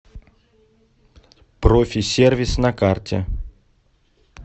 профи сервис на карте